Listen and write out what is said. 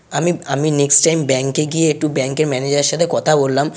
আমি আমি next time bank -এ গিয়ে একটু ব্যাঙ্ক -এর ম্যানেজার -এর সাথে কথা বললাম।